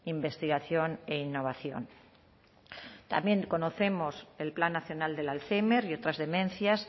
investigación e innovación también conocemos el plan nacional del alzhéimer y otras demencias